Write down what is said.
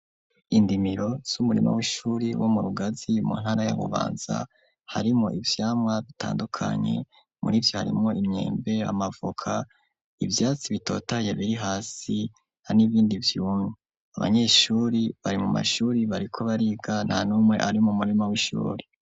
Indimiro z'umurima w'ishuri, wo mu Rugazi mu ntara ya Bubanza, harimwo ivyamwa bitandukanye; muri vyo harimwo imyembe, amavoka, ivyatsi bitotaye biri hasi, n'ibindi vyumye; abanyeshuri bari mu mashuri, bariko bariga, nta n'umwe ari mu murima w'ishuri.